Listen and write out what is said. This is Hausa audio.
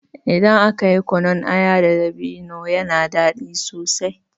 Idan aka yi kunun aya da dabino yana daɗi sosai.